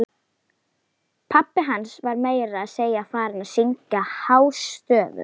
Pabbi hans var meira að segja farinn að syngja hástöfum!